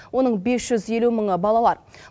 оның бес жүз елу мыңы балалар